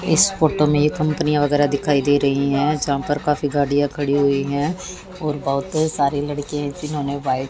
इस फोटो में कंपनियां वगैरह दिखाई दे रही हैं यहां पर काफी गाड़ियां खड़ी हुई हैं और बहुत सारे लड़के जिन्होंने व्हाइट --